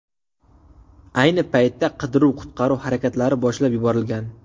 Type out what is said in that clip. Ayni paytda qidiruv-qutqaruv harakatlari boshlab yuborilgan.